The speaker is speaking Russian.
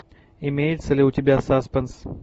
имеется ли у тебя саспенс